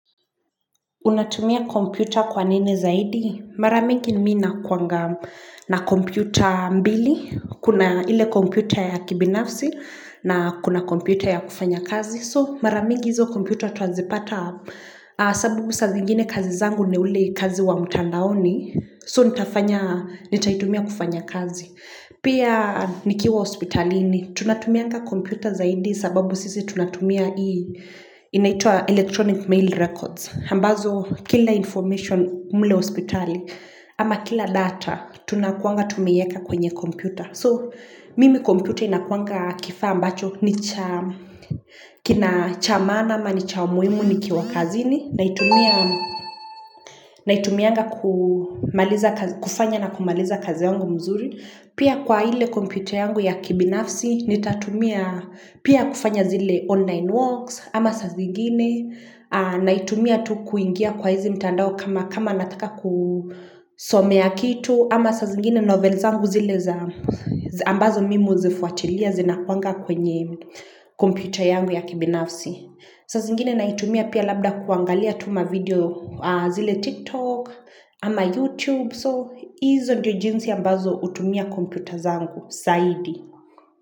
Unatumia kompyuta kwa nini zaidi? Mara mingi ninakuanga na kompyuta mbili, kuna ile kompyuta ya kibinafsi na kuna kompyuta ya kufanya kazi. So mara mingi hizo kompyuta tunazipata sababu za zingine kazi zangu ni ule kazi wa mtandaoni. So nitaitumia kufanya kazi. Pia nikiwa ospitalini, tunatumianga kompyuta zaidi sababu sisi tunatumia hii, inaitwa electronic mail records. Ambazo kila information kule hospitali, ama kila data, tunakuanga tumeiweka kwenye computer. So, mimi computer inakuanga kifa ambacho, kina cha maana ama ni cha umuhimu nikiwa kazini, naitumia kufanya na kumaliza kazi yangu mzuri. Pia kwa ile computer yangu ya kibinafsi, naitumia pia kufanya zile online works, ama zingine naitumia tu kuingia kwa hizi mtandao kama nataka kusomea kitu ama sa zingine novel zangu zile za ambazo mimo zifuatilia zina kuanga kwenye kompita yangu ya kibinafsi saa zingine naitumia pia labda kuangalia tu mavideo kule TikTok ama YouTube So hizo ndio jinsi ambazo natumia kompiuta zangu saidi.